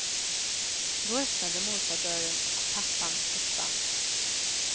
Då öppnade morfar dörren och pappan försvann.